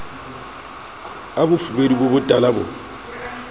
a bofubedu bo botala bo